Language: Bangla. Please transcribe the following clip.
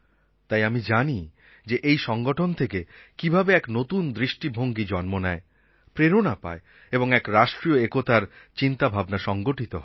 তাই আমি জানি যে এই সংগঠন থেকে কীভাবে এক নতুন দৃষ্টিভঙ্গী জন্ম নেয় প্রেরণা পায় এবং এক রাষ্ট্রিয় একতার চিন্তাভাবনা সংগঠিত হয়